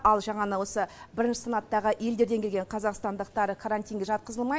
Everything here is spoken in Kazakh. ал жаңа осы бірінші санаттағы елдерден оралған қазақстандықтар карантинге жатқызылмайды